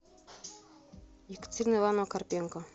екатерина ивановна карпенко